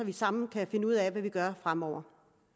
vi sammen kan finde ud af hvad vi gør fremover